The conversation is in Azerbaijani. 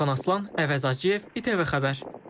Orxan Aslan, Əvəz Acıyev, İTV Xəbər.